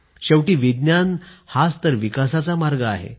शेवटी विज्ञान हाच तर विकासाचा मार्ग आहे